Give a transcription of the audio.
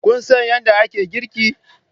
Kun san yadda ake girki?